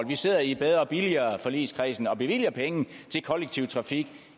vi sidder i bedre og billigere forligskredsen og bevilger penge til kollektiv trafik